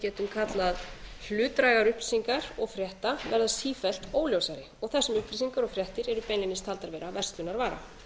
getum kallað hlutdrægar upplýsingar og frétta verða sífellt óljósari þar sem upplýsingar og fréttir eru beinlínis taldar vera verslunarvara